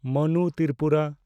Manu Tripura